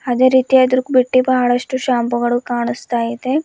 ಅದೇ ರೀತಿ ಅದು ಬಿಟ್ಟಿ ಬಹಳಷ್ಟು ಶಾಂಪೂಗಳು ಕಾಣಿಸ್ತಾ ಇದೆ.